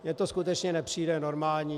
Mně to skutečně nepřijde normální.